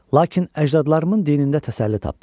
Lakin əcdadlarımın dinində təsəlli tapdım.